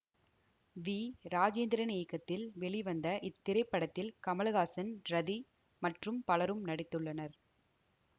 we Rajendran இயக்கத்தில் வெளிவந்த இத்திரைப்படத்தில் கமலஹாசன் ரதி மற்றும் பலரும் நடித்துள்ளனர்